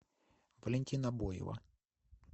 валентина боева